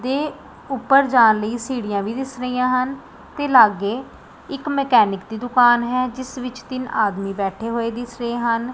ਦੇ ਊਪਰ ਜਾਣ ਲਈ ਸੀੜੀਆਂ ਵੀ ਦਿੱਸ ਰਹੀਆਂ ਹਨ ਤੇ ਲਾਗੇ ਇੱਕ ਮੇਕੇਨੀਕ ਦੀ ਦੁਕਾਨ ਹੈ ਜਿੱਸ ਵਿੱਚ ਤਿੰਨ ਆਦਮੀ ਬੈਠੇ ਹੋਏ ਦਿੱਸ ਰਹੇ ਹਨ।